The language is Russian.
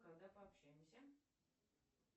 когда пообщаемся